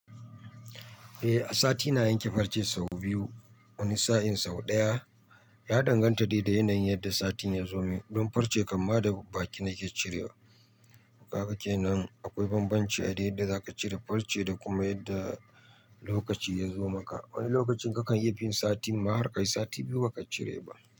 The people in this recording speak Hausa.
Eh, sati na yanke farce sau biyu, wani sa'in sau ɗaya. Ya danganta dai da yanayin yadda sati ya zo min don farce kam ma da baki nake cirewa. Kaga kenan akwai banbanci a dai da za ka cire farce da kuma yadda lokaci ya zo maka. Wani lokacin kakan yi fin sati, mahar kai sati biyu ba ka cire ba.